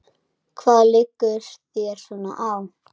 Hvað liggur þér svona á?